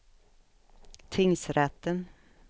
tingsrätten